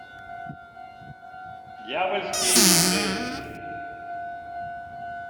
дьявольские игры